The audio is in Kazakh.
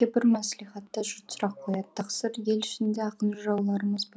бір мәслихатта жұрт сұрақ қояды тақсыр ел ішінде ақын жырауларымыз